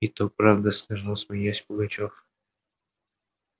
и то правда сказал смеясь пугачёв